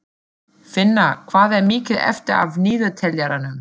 Finna, hvað er mikið eftir af niðurteljaranum?